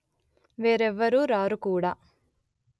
వేరెవ్వరు రారు కూడ